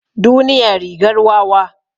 Duniya rigar wawa.